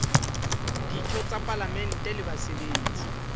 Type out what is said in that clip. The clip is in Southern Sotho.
ditho tsa palamente le basebetsi